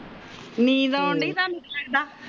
ਨੀਂਦ ਆਉਂਦੀ ਹੈ ਲੱਗਦਾ